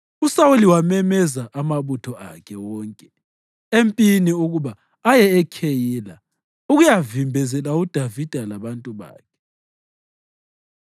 USawuli wamemeza amabutho akhe wonke empini ukuba aye eKheyila ukuyavimbezela uDavida labantu bakhe.